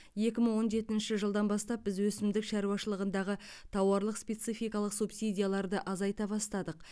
екі мың он жетінші жылдан бастап біз өсімдік шаруашылығындағы тауарлық спецификалық субсидияларды азайта бастадық